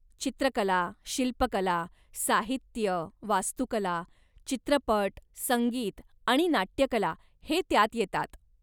चित्रकला, शिल्पकला, साहित्य, वास्तुकला, चित्रपट, संगीत आणि नाट्यकला हे त्यात येतात.